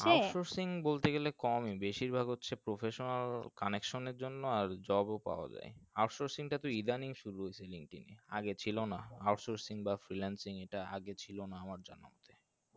বলতে গেলে কমই বেশির ভাগ হচ্ছে professional connection এর জন্য আর job ও পাওয়া যায় out sourcing টা তো eitherning শুরু হইসে linkedin আগে ছিল না out sourcing বা freelancing এটা আগে ছিলো না আমার জানাতে